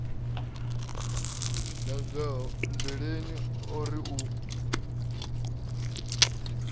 nangoho nndweleni o ri u